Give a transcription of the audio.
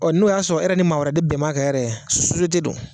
Ɔ n'o y'a sɔrɔ e ni maa wɛrɛ de bɛn b'a kan yɛrɛ sosiyete dɔ